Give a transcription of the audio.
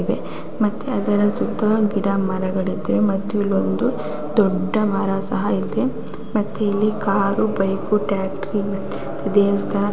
ನನಗೆ ಬದಂಥ ಚಿತ್ರದಲ್ಲಿ ಒಂದು ಬಿಲ್ಡಿಂಗ್ ಕಾಣಿಸುತ್ತಿದೆ ಆ ಬಿಲ್ಡಿಂಗ್ ನಲ್ಲಿ ಅನೇಕ ಕಿಟಕಿಗಳು ಸಹ ಕಾಣಿಸುತ್ತಿದೆ ಮತ್ತೆ ಅದರ ಸುತ್ತ ಗಿಡ ಮರ ಮತ್ತು ಟ್ರ್ಯಾಕ್ಟರ್ ಬೈಕ್ ಕಾರುಗಳು ನಿಂತಿವೆ.